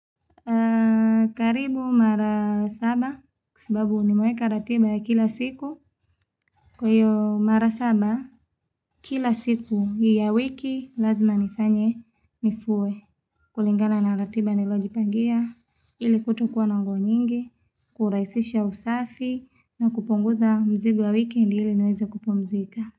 Karibu mara saba kwa sababu nimeeka ratiba ya kila siku kwa hiyo mara saba kila siku ya wiki lazima nifanye nifue kulingana na ratiba nilojipangia ili kutokuwa nongo nyingi kurahisisha usafi na kupunguza mzigo ya weekend ili niweza kupumzika.